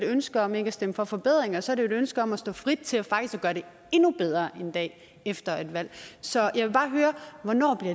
et ønske om ikke at stemme for forbedringer så er det et ønske om at stå frit til faktisk at gøre det endnu bedre en dag efter et valg så jeg vil bare høre hvornår